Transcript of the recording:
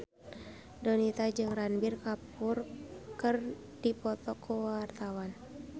Donita jeung Ranbir Kapoor keur dipoto ku wartawan